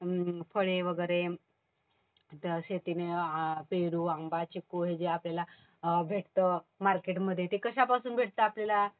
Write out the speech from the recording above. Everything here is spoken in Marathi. फळे वगैरे शेतीतून पेरू, आंबा, चिक्कू हे जे आपल्याला भेटतं मार्केटमध्ये. ते कशापासून भेटतं आपल्याला?